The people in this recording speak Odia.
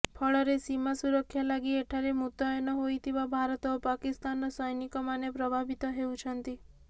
ଫଳରେ ସୀମା ସୁରକ୍ଷା ଲାଗି ଏଠାରେ ମୁତୟନ ହୋଇଥିବା ଭାରତ ଓ ପାକିସ୍ତାନର ସୈନିକମାନେ ପ୍ରଭାବିତ ହେଉଛନ୍ତି